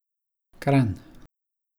Kranj.